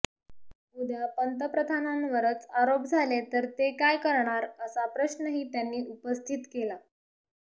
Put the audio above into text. उद्या पंतप्रधानांवरच आरोप झाले तर ते काय करणार असा प्रश्नही त्यांनी उपस्थित केला